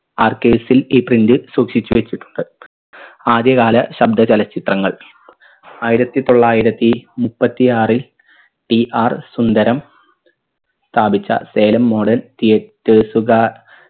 arcades ൽ ഈ print സൂക്ഷിച്ച് വെച്ചിട്ടുണ്ട് ആദ്യകാല ശബ്ദ ചലച്ചിത്രങ്ങൾ ആയിരത്തി തൊള്ളായിരത്തി മുപ്പത്തിയാറിൽ PR സുന്ദരം സ്ഥാപിച്ച സേലം modern theaters കാർ